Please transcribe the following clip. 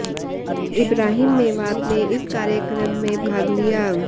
इब्राहीम मेवात ने इस कार्यक्रम में भाग लिया